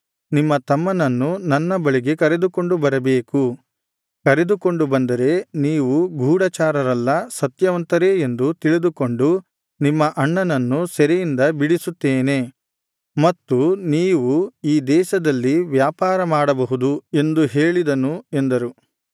ನಿಮ್ಮ ತಮ್ಮನನ್ನು ನನ್ನ ಬಳಿಗೆ ಕರೆದುಕೊಂಡು ಬರಬೇಕು ಕರೆದುಕೊಂಡು ಬಂದರೆ ನೀವು ಗೂಢಚಾರರಲ್ಲ ಸತ್ಯವಂತರೇ ಎಂದು ತಿಳಿದುಕೊಂಡು ನಿಮ್ಮ ಅಣ್ಣನನ್ನು ಸೆರೆಯಿಂದ ಬಿಡಿಸುತ್ತೇನೆ ಮತ್ತು ನೀವು ಈ ದೇಶದಲ್ಲಿ ವ್ಯಾಪಾರ ಮಾಡಬಹುದು ಎಂದು ಹೇಳಿದನು ಎಂದರು